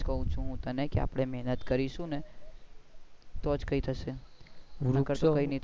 એ જ કાઉ હું તને કે આપણે મેહનત કારીશુ ને તો જ કઈ થશે નહિ તો